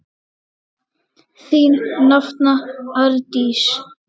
Þín nafna, Arndís.